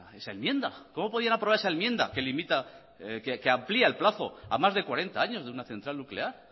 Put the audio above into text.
esa enmienda cómo podían aprobar esa enmienda que amplia el plazo a más de cuarenta años de una central nuclear